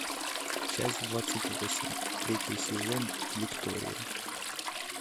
часть двадцать восемь третий сезон виктория